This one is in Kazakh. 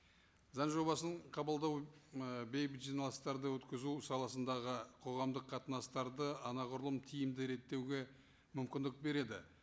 заң жобасын қабылдау ы бейбіт жиналыстарды өткізу саласындағы қоғамдық қатынастарды анағұрлым тиімді реттеуге мүмкіндік береді